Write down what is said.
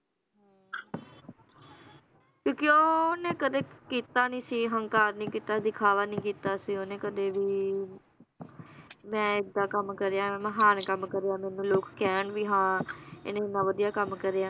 ਕਿਉਂਕਿ ਓਹਨੇ ਕਦੇ ਕੀਤਾ ਨੀ ਸੀ ਹੰਕਾਰ ਨੀ ਕੀਤਾ ਦਿਖਾਵਾ ਨੀ ਕੀਤਾ ਸੀ ਓਹਨੇ ਕਦੇ ਵੀ ਮੈ ਏਦਾਂ ਕੱਮ ਕਰਿਆ ਮਹਾਨ ਕੰਮ ਕਰਿਆ ਮੈਨੂੰ ਲੋਕ ਕਹਿਣ ਵੀ ਹਾਂ ਇਹਨੇ ਇੰਨਾ ਵਧੀਆ ਕੰਮ ਕਰਿਆ।